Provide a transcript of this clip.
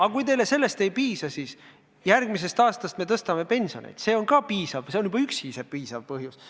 Aga kui teile sellest ei piisa, siis järgmisel aastal me ka tõstame pensionit – juba see üksi on piisav põhjus.